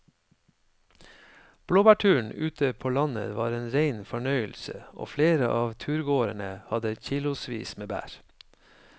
Blåbærturen ute på landet var en rein fornøyelse og flere av turgåerene hadde kilosvis med bær.